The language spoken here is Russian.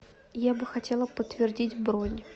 я бы хотела подтвердить бронь